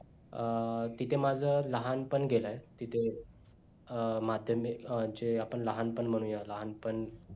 अं तिथं माझं लहानपण गेलय तिथं अं माध्यमिक चे लहानपण म्हणूया लहानपण